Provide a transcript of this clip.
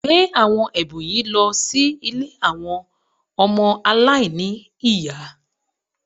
Gbé àwọn ẹ̀bùn yìí lọ sí ilé àwọn ọmọ aláìní ní ìyá